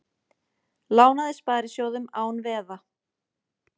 Lánaði sparisjóðum án veða